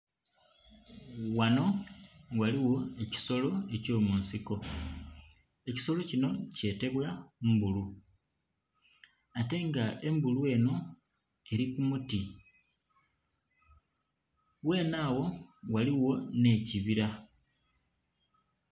Ghanho ghaligho ekisolo ekyo munsiko ebisolo kinho kyetebwa mbulu ate ga embulu enho eri ku muti ghene agho ghaligho nhe kibira.